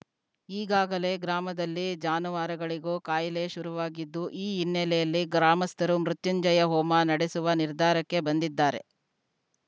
ಈಗಾಗಲೇ ಗ್ರಾಮದಲ್ಲಿ ಜಾನುವಾರುಗಳಿಗೂ ಕಾಯಿಲೆ ಶುರುವಾಗಿದ್ದು ಈ ಹಿನ್ನೆಲೆಯಲ್ಲಿ ಗ್ರಾಮಸ್ಥರು ಮೃತ್ಯುಂಜಯ ಹೋಮ ನಡೆಸುವ ನಿರ್ಧಾರಕ್ಕೆ ಬಂದಿದ್ದಾರೆ